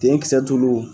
Denkisɛ tulu wo